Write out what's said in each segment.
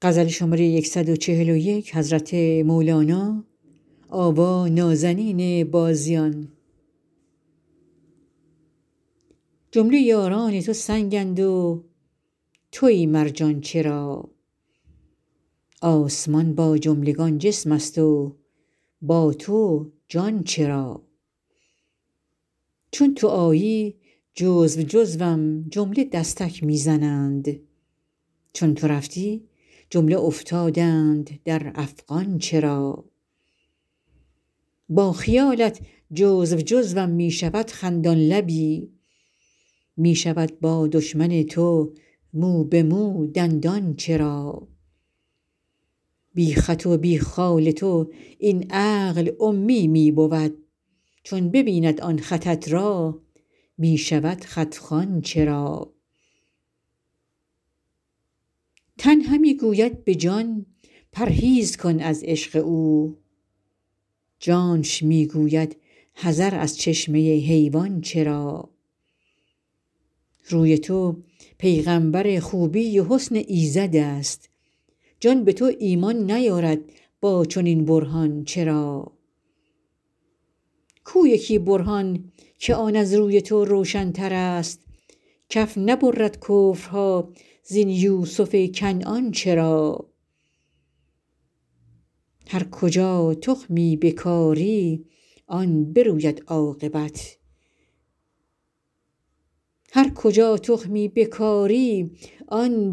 جمله یاران تو سنگند و توی مرجان چرا آسمان با جملگان جسمست و با تو جان چرا چون تو آیی جزو جزوم جمله دستک می زنند چون تو رفتی جمله افتادند در افغان چرا با خیالت جزو جزوم می شود خندان لبی می شود با دشمن تو مو به مو دندان چرا بی خط و بی خال تو این عقل امی می بود چون ببیند آن خطت را می شود خط خوان چرا تن همی گوید به جان پرهیز کن از عشق او جانش می گوید حذر از چشمه حیوان چرا روی تو پیغامبر خوبی و حسن ایزدست جان به تو ایمان نیارد با چنین برهان چرا کو یکی برهان که آن از روی تو روشنترست کف نبرد کفرها زین یوسف کنعان چرا هر کجا تخمی بکاری آن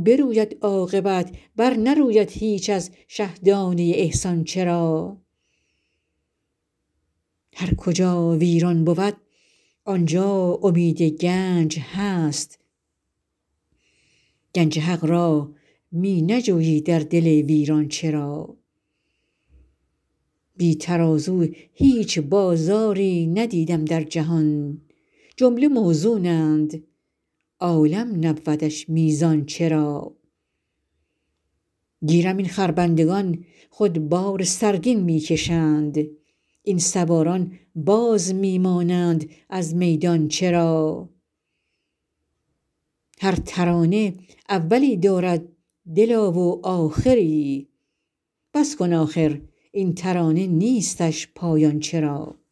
بروید عاقبت برنروید هیچ از شه دانه ی احسان چرا هر کجا ویران بود آن جا امید گنج هست گنج حق را می نجویی در دل ویران چرا بی ترازو هیچ بازاری ندیدم در جهان جمله موزونند عالم نبودش میزان چرا گیرم این خربندگان خود بار سرگین می کشند این سواران باز می مانند از میدان چرا هر ترانه اولی دارد دلا و آخری بس کن آخر این ترانه نیستش پایان چرا